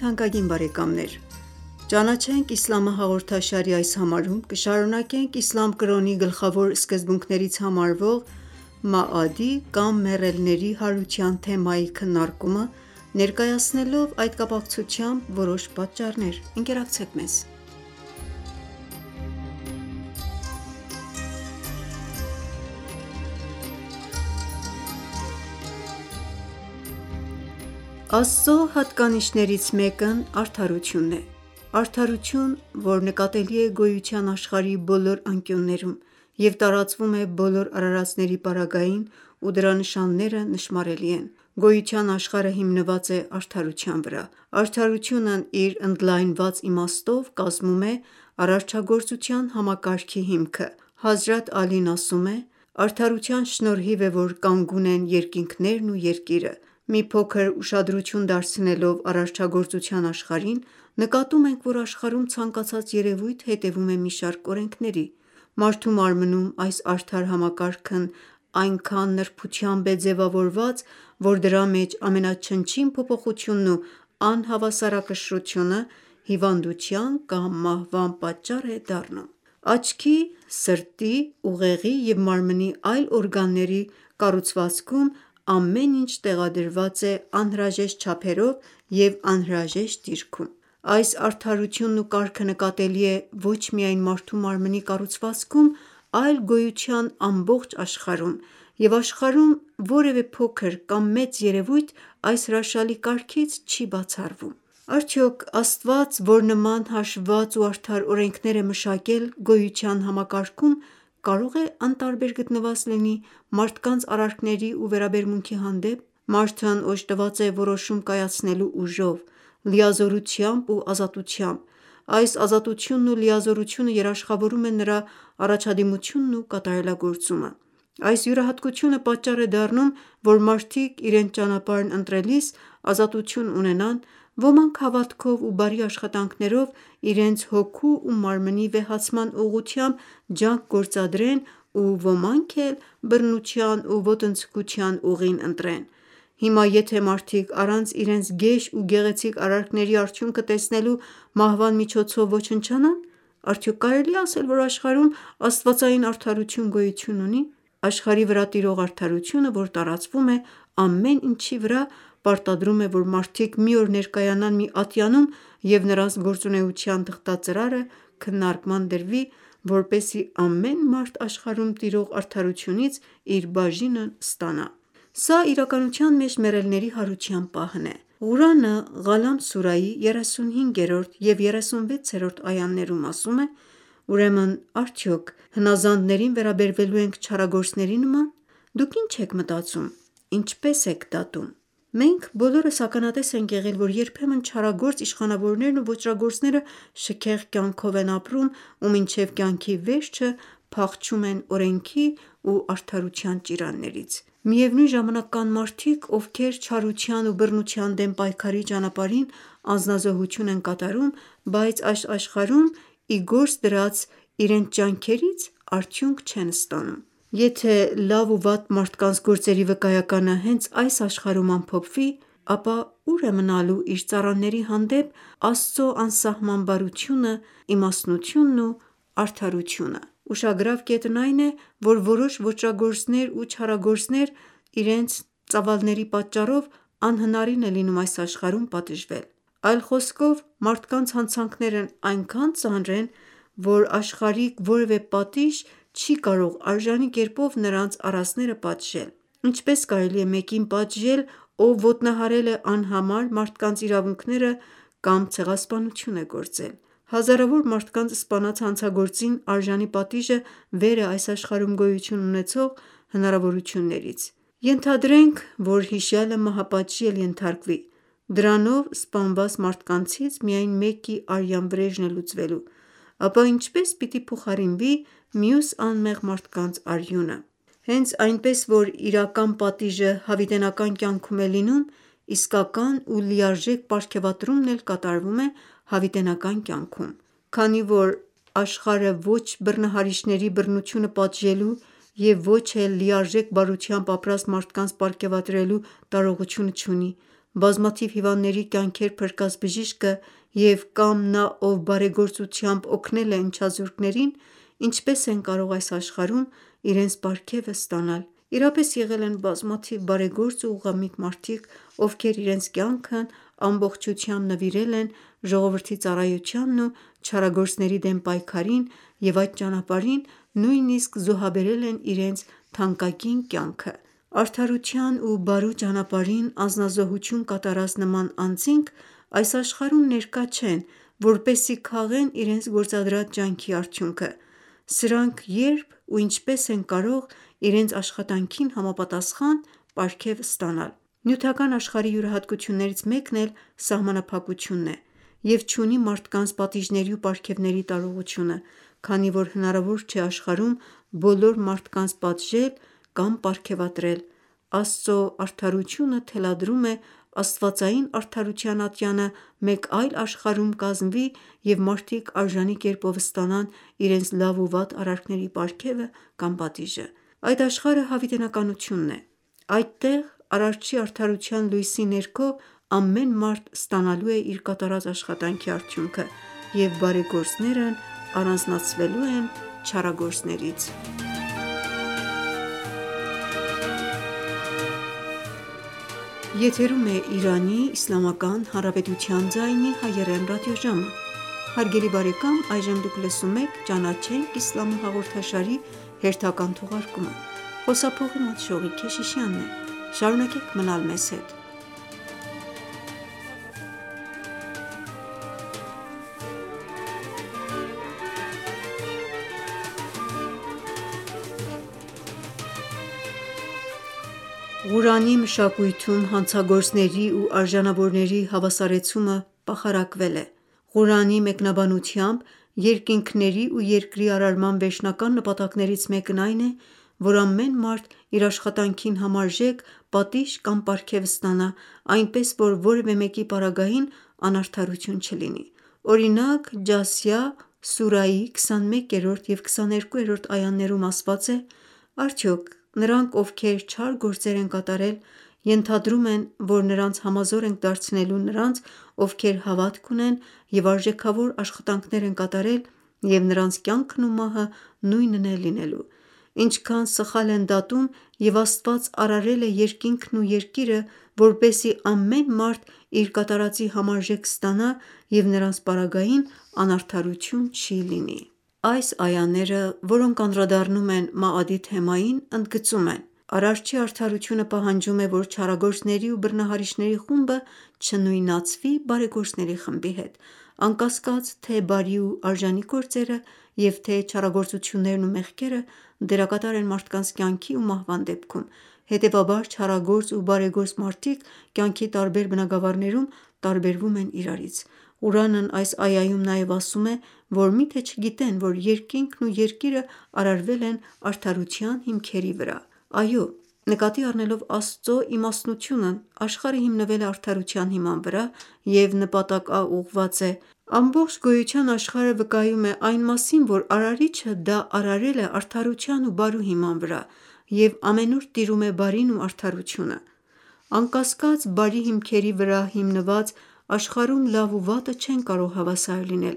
թանկագին բարեկամներ: «Ճանաչենք իսլամը» հաղորդաշարի այս համարում կշարունակենք իսլամ կրոնի գլխավոր սկզբունքներից համարվող «Մաադ»-ի կամ մեռելների հարության թեմայի քննարկումը՝ ներկայացնելով այդ կապակցությամբ որոշ պատճառներ: Աստծո հատկանիշներից մեկն արդարություն է: Արդարություն, որ նկատելի է գոյության աշխարհի բոլոր անկյուններում և տարածվում է, բոլոր արարածների պարագային ու դրա նշանները նշմարելի են: Գոյության աշխարհը հիմնված է արդարության վրա: Արդարությունն իր ընդլայնված իմաստով կազմում է արարչագործության համակարգի հիմքը: Հազրաթ Ալին ասում է. «Արդարության շնորհիվ է, որ կանգուն են երկինքներն ու Երկիրը»։ Մի փոքր ուշադրություն դարձնելով արարչագործության աշխարհին նկատում ենք, որ աշխարհում ցանկացած երևույթ հետևում է մի շարք օրենքների: Մարդու մարմնում այս արդար համակարգն այնքան նրբությամբ է ձևավորված, որ դրա մեջ ամենաչնչին փոփոխությունն ու անհավասարակշռությունը հիվանդության կամ մահվան պատճառ է դառնում: Աչքի, սրտի, ուղեղի և մարմնի այլ օրգանների կառուցվածքում ամեն ինչ տեղադրված է անհրաժեշտ չափերով և անհրաժեշտ դիրքում: Այս արդարությունն ու կարգը նկատելի է ոչ միայն մարդու մարմնի կառուցվածքում, այլ գոյության ամբողջ աշխարհում և աշխարհում որևէ փոքր կամ մեծ երևույթ այս հրաշալի կարգից չի բացառվում: Արդյոք Աստված որ նման հաշվված ու արդար օրենքներ է մշակել գոյության համակարգում կարող է անտարբեր գտնված լինի մարդկանց արարքների ու վերաբերմունքի հանդեպ: Մարդն օժտված է որոշում կայացնելու ուժով, լիազորությամբ ու ազատությամբ: Այս ազատությունն ու լիազորությունը երաշխավորում է նրա առաջադիմությունն ու կատարելագործումը: Այս յուրահատկությունը պատճառ է դառնում, որ մարդիկ իրենց ճանապարհն ընտրելիս ազատություն ունենան, ոմանք հավատքով ու բարի աշխատանքներով իրենց հոգու ու մարմնի վեհացման ուղղությամբ ջանք գործադրեն ու ոմանք էլ բռնության ու ոտնձգության ուղին ընտրեն: Հիմա եթե մարդիկ առանց իրենց գեշ ու գեղեցիկ արարքների արդյունքը տեսնելու մահվան միջոցով ոչնչանան, արդյոք կարելի է ասել, որ աշխարհում աստվածային արդարություն գոյություն ունի: Աշխարհի վրա տիրող արդարությունը, որ տարածվում է ամեն ինչի վրա պարտադրում է, որ մարդիկ մի օր ներկայանան մի ատյանում և նրանց գործունեության թղթածրարը քննարկման դրվի, որպեսզի ամեն մարդ աշխարհում տիրող արդարությունից իր բաժինն ստանա: Սա իրականության մեջ մեռելների հարության պահն է: Ղուրանը «Ղալամ» սուրայի 35-րդ և 36-րդ այաներում ասում է.«Ուրեմն արդյոք հնազանդներին վերաբերվելու ենք չարագործների նման: Դուք ի՞նչ եք մտածում: Ինչպե՞ս եք դատում»: Մենք բոլորս ականատես ենք եղել, որ երբեմն չարագործ իշխանավորներն ու ոճրագործները շքեղ կյանքով են ապրում ու մինչև կյանքի վերջը փախչում են օրենքի ու արդարության ճիրաններից: Միևնույն ժամանակ կան մարդիկ, ովքեր չարության ու բռնության դեմ պայքարի ճամփին անձնազոհություն են կատարում, բայց այս աշխարհում իրենց ի գործ դրած ջանքերից արդյունք չեն ստանում: Եթե լավ ու վատ մարդկանց գործերի վկայականը հենց այս աշխարհում ամփոփվի, ապա ո՞ւր է մնալու իր արարածների հանդեպ Աստծո անսահման բարությունն, իմաստնություն ու արդարությունը: Ուշագրավ կետն այն է, որ որոշ ոճրագործությունների ու չարագործությունների ծավալների պատճառով անհնարին է լինում այս աշխարհում դրանց հեղինակներին պատժվել: Այլ խոսքով մարդկանց հանցանքներն այնքան ծանր են, որ աշխարհիկ որևէ պատիժ չի կարող արժանի կերպով նրանց արածները պատժել: Ինչպե՞ս կարելի է մեկին պատժել ով ոտնահարել է անհամար մարդկանց իրավունքները կամ ցեղասպանություն է գործել: Հազարավոր մարդկանց սպանած հանցագործին արժանի պատիժը վեր է այս աշխարհում գոյություն ունեցող հնարավորություններից: Ենթադրենք, որ հիշյալը մահապատժի էլ ենթարկվի, դրանով սպանված մարդկանցից միայն մեկի արյան վրեժն է լուծվելու: Ապա ինչպե՞ս պիտի փոխարինվի մյուս անմեղ մարդկանց արյունը: Հենց այնպես որ իրական պատիժը հավիտենական կյանքում է լինում, իսկական ու լիարժեք պարգևատրումն էլ կատարվում է հավիտենական կյանքում: Քանի որ աշխարհը ոչ բռնահարիչների բռնությունը պատժելու և ոչ էլ լիարժեք բարությամբ ապրած մարդկանց պարգևատրելու տարողությունը չունի: Բազմաթիվ հիվանդների կյանքեր փրկած բժիշկը և կամ նա ով բարեգործությամբ օգնել է ընչազուրկներին, ինչպե՞ս են կարող այս աշխարհում իրենց պարգևը ստանալ: Իրապես եղել են բազմաթիվ բարեգործ ու ուղղամիտ մարդիկ, ովքեր իրենց կյանքն ամբողջությամբ նվիրել են ժողովրդի ծառայությանն ու չարագործների դեմ պայքարին և այդ ճամփին նույնիսկ զոհաբերել են իրենց թանկագին կյանքը: Արդարության ու բարու ճամփին անձնազոհություն կատարած նման անձինք այս աշխարհում ներկա չեն, որպեսզի քաղեն իրենց գործադրած ջանքի արդյունքը: Սրանք ե՞րբ ու ինչպե՞ս են կարող իրենց աշխատանքին համապատասխան պարգև ստանալ: Նյութական աշխարհի յուրահատկություններից մեկն էլ սահմանափակությունն է և չունի մարդկանց պատիժների ու պարգևների տարողությունը: Քանի որ հնարավոր չէ աշխարհում բոլոր մարդկանց պատժել կամ պարգևատրել, Աստծո արդարությունը թելադրում է աստվածային արդարության ատյանը մեկ այլ աշխարհում կազմվի և մարդիկ արժանի կերպով ստանան իրենց լավ ու վատ արարքների պարգևը կամ պատիժը: Այդ աշխարհը հավիտենականություն է: Այդտեղ Արարչի արդարության լույսի ներքո ամեն մարդ ստանալու է իր կատարած աշխատանքի արդյունքը և բարեգործներն առանձնացվելու են չարագործներից: Ղուրանի մշակույթում հանցագործների ու արժանավորների հավասարեցումը պախարակվել է: Ղուրանի մեկնաբանությամբ երկինքների ու Երկրի արարման վերջնական նպատակներից մեկն այն է, որ ամեն մարդ իր աշխատանքին համարժեք պատիժ կամ պարգև ստանա, այնպես որ որևէ մեկի պարագային անարդարություն չլինի: Օրինակ «Ջասիա» սուրայի 21-րդ և 22-րդ այաներում ասված է. «Արդյոք նրանք ովքեր չար գործեր են կատարել ենթադրում են, որ նրանց համազոր ենք դարձնելու նրանց ովքեր հավատք ունեն և արժեքավոր աշխատանքներ են կատարել և նրանց կյանքն ու մահը նույնն է լինելու: Ինչքան սխալ են դատում և Աստված արարել է երկինքներն ու Երկիրը, որպեսզի ամեն մարդ իր կատարածի համարժեք ստանա և նրանց պարագային անարդարություն չի լինելու»: Այս այաները, որոնք անդրադառնում են «Մաադ»-ի թեմային, ընդգծում են. «Արարչի արդարությունը պահանջում է, որ չարագործների ու բռնահարիչների խումբը չնույնացվի բարեգործների խմբի հետ: Անկասկած թե բարի ու արժանի գործերը և թե չարագործություններն ու մեղքերը դերակատար են մարդկանց կյանքի ու մահվան դեպքում: Հետևաբար չարագործ ու բարեգործ մարդիկ կյանքի տարբեր բնագավառներում տարբերվում են իրարից: Ղուրանն այս այաում նաև ասում է, որ միթե չգիտեն, որ երկինքն ու երկիրն արարվել են արդարության հիմքերի վրա: Այո, նկատի առնելով Աստծո իմաստնությունն աշխարհը հիմնվել է արդարության հիման վրա և նպատակաուղղված է: Ամբողջ գոյության աշխարհը վկայում է այն մասին դրա արարիչը դա արարել է արդարության ու բարու հիման վրա և ամենուր տիրում է բարին ու արդարությունը: Անկասկած բարի հիմքերի վրա դրված աշխարհում լավ ու վատը չեն կարող հավասար լինել: